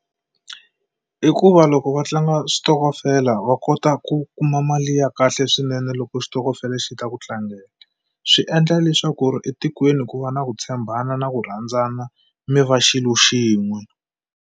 I ku va loko va tlanga switokofela va kota ku kuma mali ya kahle swinene loko xitokofela xi ta ku tlangela. Swi endla leswaku ri etikweni ku va na ku tshembana na ku rhandzana, mi va xilo xin'we.